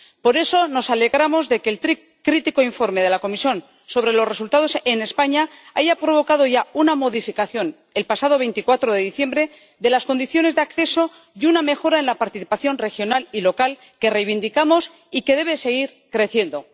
Por eso nos alegramos de que el crítico informe de la Comisión sobre los resultados en España haya provocado ya una modificación, el pasado 24 de diciembre, de las condiciones de acceso y una mejora en la participación regional y local, que reivindicamos y que debe seguir creciendo.